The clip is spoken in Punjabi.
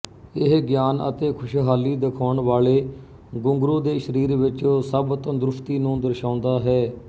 ਇਹ ਗਿਆਨ ਅਤੇ ਖੁਸ਼ਹਾਲੀ ਦਿਖਾਉਣ ਵਾਲੇ ਗੁੰਗਰੂ ਦੇ ਸਰੀਰ ਵਿੱਚ ਸਭ ਤੰਦਰੁਸਤੀ ਨੂੰ ਦਰਸਾਉਂਦਾ ਹੈ